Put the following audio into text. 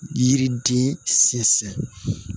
Yiriden sinsin